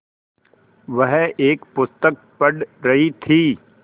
वह एक पुस्तक पढ़ रहीं थी